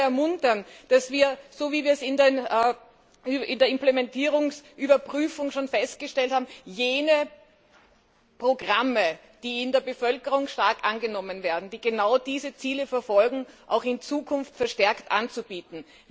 Ich kann nur dazu ermuntern, dass wir, so wie wir es in der Implementierungsüberprüfung schon festgestellt haben, jene Programme, die in der Bevölkerung stark angenommen werden, die genau diese Ziele verfolgen, auch in Zukunft verstärkt anzubieten.